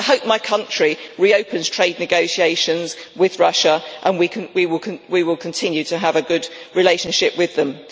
I hope my country reopens trade negotiations with Russia and we will continue to have a good relationship with it.